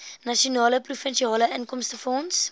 nasionale provinsiale inkomstefonds